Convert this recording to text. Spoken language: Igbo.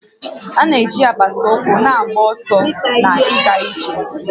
A na-eji apata ụkwụ na-agba ọsọ na ịga ije